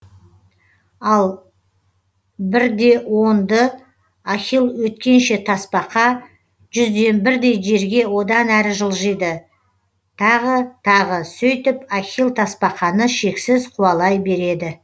ал бір де онды ахилл өткенше тасбақа жүзден бірдей жерге одан әрі жылжиды тағы тағы сөйтіп ахилл тасбақаны шексіз қуалай береді